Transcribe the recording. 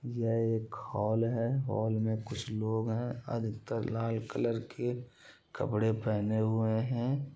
यह एक हॉल है| हॉल में कुछ लोग हैं अधिकतर लाल कलर के कपड़े पहने हुए हैं।